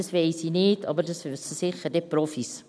Das weiss ich nicht, aber das wissen sicher die Profis.